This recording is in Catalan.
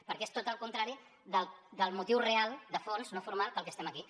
perquè és tot el contrari del motiu real de fons no formal pel que estem aquí